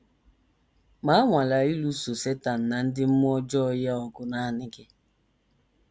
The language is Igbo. Ma anwala ịlụso Setan na ndị mmụọ ọjọọ ya ọgụ nanị gị.